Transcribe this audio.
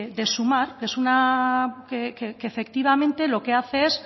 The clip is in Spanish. de sumar que efectivamente lo que hace es